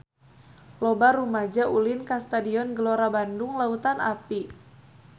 Loba rumaja ulin ka Stadion Gelora Bandung Lautan Api